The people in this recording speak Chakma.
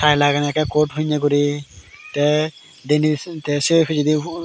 tie lagene ekke coat pinne guri te denen se te se picchedi hugur.